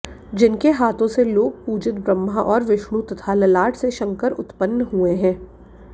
जिनके हाथों से लोक पूजित ब्रह्मा और विष्णु तथा ललाट से शंकर उत्पंन हुए हैं